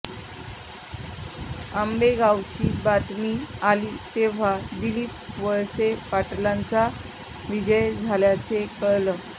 आंबेगावची बातमी आली तेव्हा दिलीप वळसे पाटलांचा विजय झाल्याचं कळलं